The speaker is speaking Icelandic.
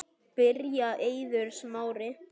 Byrjar Eiður Smári?